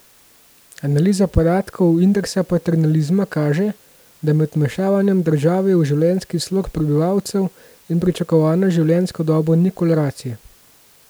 Analiza podatkov Indeksa paternalizma kaže, da med vmešavanjem države v življenjski slog prebivalcev in pričakovano življenjsko dobo ni korelacije.